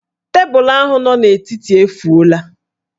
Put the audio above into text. Tebụlụ ahụ nọ n'etiti efuola